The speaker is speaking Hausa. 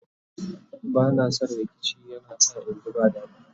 bana San rikici yana sa inji ba dadi